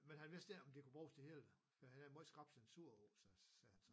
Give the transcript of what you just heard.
Men han vidste ikke om det kunne bruges det hele for han har meget skrap censur hos sig sagde han så